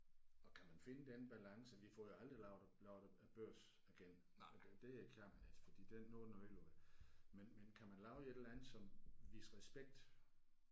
Og kan man finde den balance vi får jo aldrig lavet lavet Børsen igen det det kan man ikke fordi det nu er den ødelagt men men kan man lave et eller andet som viser respekt